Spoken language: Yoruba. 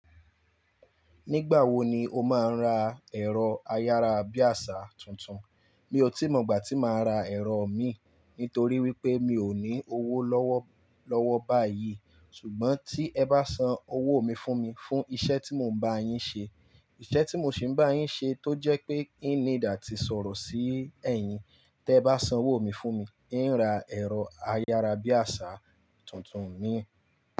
Nígbà wo ni o máa ń ra ẹ̀rọ ayára bíàṣá tuntun? Mi ò tí mọ ìgbà tí màá ra ẹ̀rọ mi, nítorí wípé mi ò ní owó lọ́wọ́, lọ́wọ́ báyìí. Ṣùgbọ́n tí ẹ bá san owó mi fún mi, fún iṣẹ́ tí mò ń bá yín ṣe, iṣẹ́ tí mò ṣì ń bá yín ṣe tó jẹ́ pé i n need ati sọ̀rọ̀ sí ẹyin. Tẹ bá san owó mi fún mi, ì ń ra ẹ̀rọ ayára bíàṣá tuntun mi.